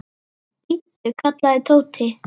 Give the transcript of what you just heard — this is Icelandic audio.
Bíddu! kallaði Tóti.